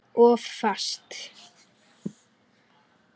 Of fast.